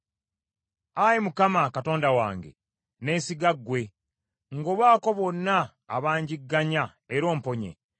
Ayi Mukama , Katonda wange, neesiga ggwe: ngobaako bonna abangigganya era omponye,